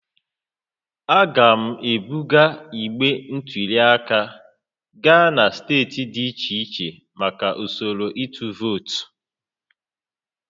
A ga-ebuga igbe ntụli aka gaa na steeti dị iche iche maka usoro ịtụ vootu